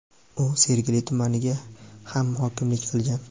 u Sergeli tumaniga ham hokimlik qilgan.